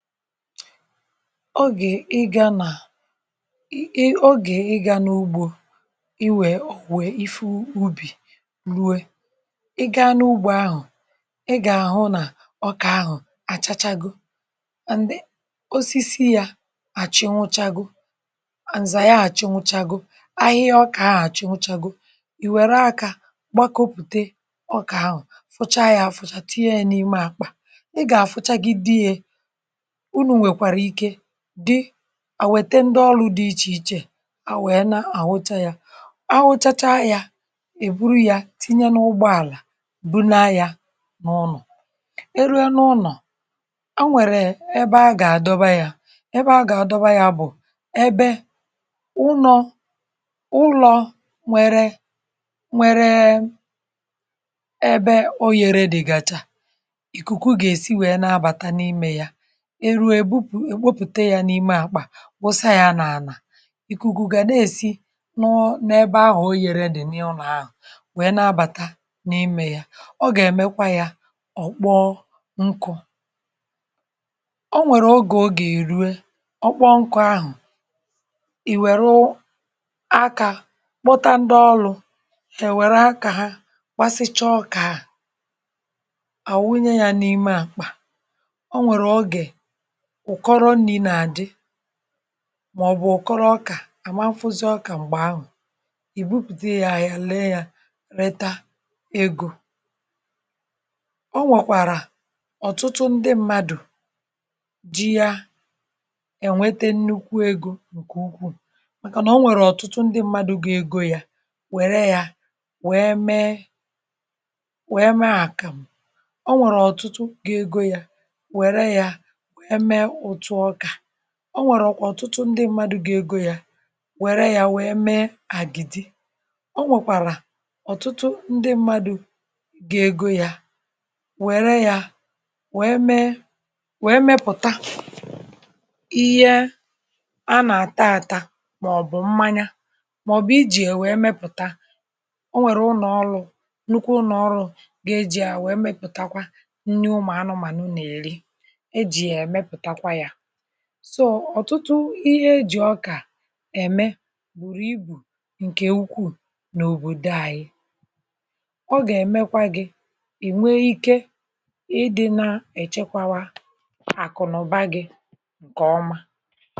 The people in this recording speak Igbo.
Ọ gè ị gà nà ị, ọ gè ị gà n’ùgbọ̀ ị nwèe. Ò nwèe ífe ubi, ruo ị gà n’ùgbọ̀ ahụ̀, ị gà-àhụ̀ nà ọkà ahụ̀ àcháchàgò, ndị osisi yà àchìnwụchàgò, ńzà ya àchìnwụchàgò, ahịa ị̀, ọkà ahụ̀ àchìnwụchàgò. Ì wère aka gbakọpùtè ọkà ahụ̀, fụ̀chà yà, àfụ̀chà, tinye yà n’ime àkpà. Ị gà-àfụ̀chaghị dị, yà dị à. Wète ndị ọlụ dị iche-iche, a wèe na-àwụ̀chà yà, ahụ̀cháchà yà, èbùrù yà, tinye n’ùgbọ̀ àlà, bù nàa yà n’ụlọ̀. E ruo n’ụlọ̀, a nwèrè ebe a gà-adọba yà, ebe a gà-adọba yà bụ̀ ebe ụlọ̀. Nwèrè, nwèrè ebe o yèrè, dị̇gàcha, ìkùkù gà-èsi, wèe na-abàtà n’ìmè yà, wụsà yà n’ànà. Ìkùkù gà-àné, èsi nọọ n’ebe ahụ̀ o yèrè dị̀, n’ụlọ̀ ahụ̀, wèe na-abàtà n’ìmè yà. Ọ gà-èmekwà yà. Ọ̀ kpọọ nkụ̇, o nwèrè oge, oge èrùè, ọ kpọọ nkụ̇ ahụ̀. Ì wèrè aka kpọtà ndị ọlụ̇, chè, wèrè aka ha kpasì, chọọ kà àrụ̀ wunye yà n’ime àkpà. Ụ̀kọrọ nri nà-adí, màọ̀bụ̀ ụ̀kọrọ ọkà, àma nfụ̀zie ọkà, m̀gbè ahụ̀ ì bùpùtè yà. Yà lee yà, rètà egò. O nwèkwàrà ọ̀tụtụ ndị mmadụ̀ jì yà, ènwètè nnukwu egò ńkè ukwuù, màkà nà o nwèrè ọ̀tụtụ ndị mmadụ̇ gí egò. Yà wèrè, yà wèrè, mee, wèrè mee àkàm̀. O nwèrè ọ̀tụtụ gí egò, yà wèrè, yà. Ọ nwèrè ọ̀tụtụ ndị mmadụ̇ gí egò, yà wèrè, yà, wee mee àgìdì. Ọ nwèkwàrà ọ̀tụtụ ndị mmadụ̇ gí egò, yà wèrè, yà, wee mee, wèe mepùtà ìhé a nà-àtà-àtà, màọ̀bụ̀ mmanya, màọ̀bụ̀ ìjì, wee mepùtà. O nwèrè ụnọ̀ ọrụ̇, nnukwu ụnọ̀ ọrụ̇, gị jì yà, wee mepùtàkwa, nye ụmụ̀ anụ̀ mà n’ụnọ̀ èlì. Sọọ, ọ̀tụtụ ìhé e jì ọkà ème bùrù ibù ńkè ukwuù n’òbòdò ànyị. Ọ gà-èmekwà gị, um, ì nwèe ike, dì̇ nà-èchèkwàwà àkụ̀nàụ̀bà gị ńkè ọ̀mà.